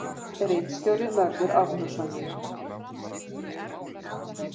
Ritstjóri Mörður Árnason.